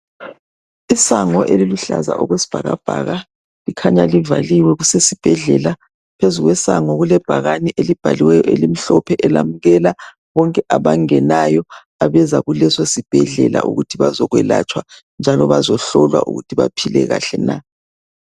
Isango eliluhlaza okwesibhakabhaka likhanya livaliwe kusesibhedlela, phezulu kwesango kulebhakane elibhaliweyo elimhlophe elamukela bonke abangenayo abeza kuleso sibhedlela ukuthi bazokwelatshwa njalo bazohlolwa ukuthi baphile kahle na.